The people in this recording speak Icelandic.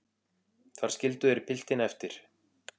Þar skildu þeir piltinn eftir.